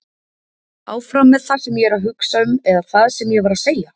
Áfram með það sem ég er að hugsa eða það sem ég var að segja?